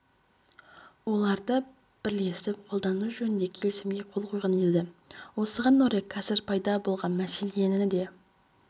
оларды бірлесіп қолдану жөнінде келісімге қол қойған еді осыған орай қазір пайда болған мәселені де